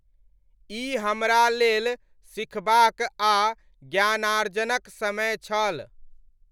ई हमरा लेल सिखबाक आ ज्ञानार्जनक समय छल।